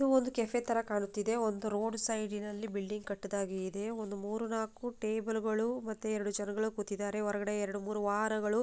ಇದು ಒಂದು ಕೆಫೆ ತರ ಕಾಣು ತ್ತಿದೆ ಒಂದು ರೋಡ್ ಸೈಡಿ ನಲ್ಲಿ ಬಿಲ್ಡಿಂಗ್ ಕಟ್ಟಿದಾಗೆ ಇದೆ ಒಂದ್ ಮೂರ್ ನಾಕು ಟೆಬೆಲ್ ಗಳು ಮತ್ತೆ ಜನಗಳು ಕೂತಿದಾರೆ ಒರ್ಗಡೆ ಎರಡ್ ಮೂರ್ ವಾಹನಗಳು --